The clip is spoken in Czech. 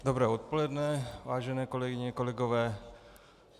Dobré odpoledne, vážené kolegyně, kolegové.